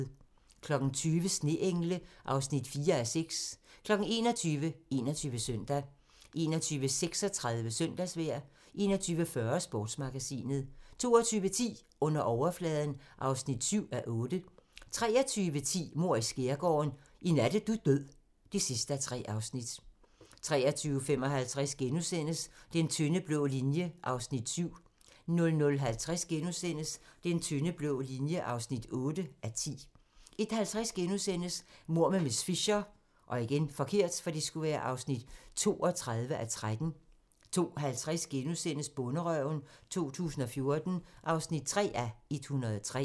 20:00: Sneengle (4:6) 21:00: 21 Søndag 21:36: Søndagsvejr 21:40: Sportsmagasinet 22:10: Under overfladen (7:8) 23:10: Mord i Skærgården: I nat er du død (3:3) 23:55: Den tynde blå linje (7:10)* 00:50: Den tynde blå linje (8:10)* 01:50: Mord med miss Fisher (32:13)* 02:50: Bonderøven 2014 (3:103)*